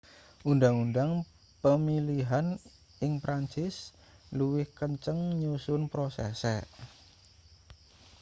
undang-undang pemilihan ing perancis luwih kenceng nyusun prosese